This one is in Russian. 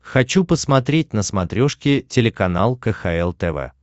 хочу посмотреть на смотрешке телеканал кхл тв